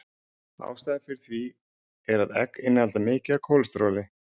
Ástæðan fyrir því er að egg innihalda mikið af kólesteróli.